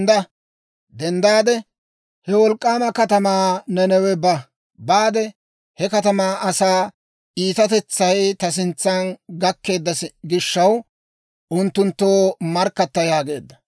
«Dendda! He wolk'k'aama katamaa Nanawe ba; baade he katamaa asaa iitatetsay ta sintsa gakkeedda gishaw, unttunttoo markkatta» yaageedda.